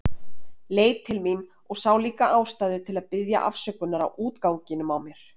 Leit til mín og sá líka ástæðu til að biðja afsökunar á útganginum á mér.